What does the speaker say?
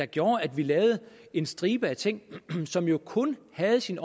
gjorde at vi lavede en stribe af ting som jo kun havde sin